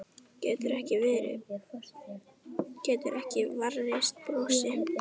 Getur ekki varist brosi.